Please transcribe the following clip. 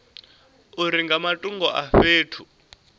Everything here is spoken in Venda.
uri nga matungo a fhethu